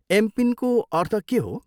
एमपिनको अर्थ के हो?